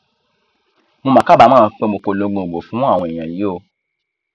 mo mà kábàámọ pé mo polongo ìbò fún àwọn èèyàn yìí o